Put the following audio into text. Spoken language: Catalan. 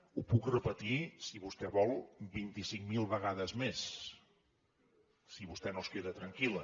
ho puc repetir si vostè vol vint i cinc mil vegades més si vostè no es queda tranquil·la